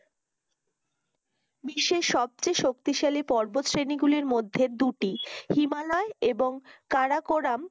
বিশ্বের সবচেয়ে শক্তিশালী পর্বত শ্রেণীগুলির মধ্যে দুটি হিমালয় এবং কারাকোরাম